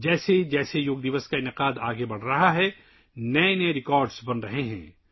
جیسے جیسے یوگا ڈے منایا جا رہا ہے، نئے ریکارڈ بن رہے ہیں